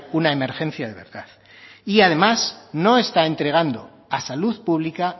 una emergencia de verdad y además no está entregando a salud pública